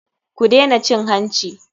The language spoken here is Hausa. Ku dena cin hanci.